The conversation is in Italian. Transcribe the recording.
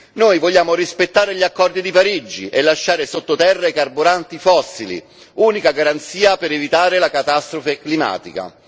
Noi vogliamo rispettare gli accordi di Parigi e lasciare sotto terra i carburanti fossili, unica garanzia per evitare la catastrofe climatica.